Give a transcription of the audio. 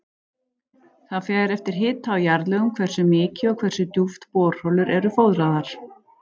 Það fer eftir hita og jarðlögum hversu mikið og hversu djúpt borholur eru fóðraðar.